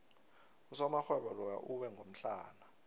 usomarhwebo loya uwe ngomhlana